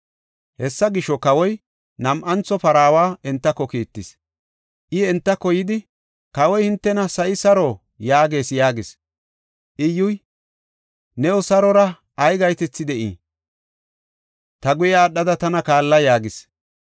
Hessa gisho, kawoy nam7antho paraawa entako kiittis. I entako yidi, “Kawoy hintena, ‘Sa7i saro?’ yaagees” yaagis. Iyyuy, “New sarora ay gahetethi de7ii? Ta guye aadhada tana kaalla” yaagis.